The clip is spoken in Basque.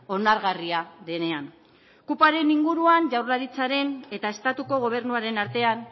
onargarria denean kupoaren inguruan jaurlaritzaren eta estatuko gobernuaren artean